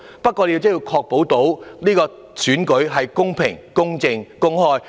不過，我們也要確保選舉是公平、公正和公開。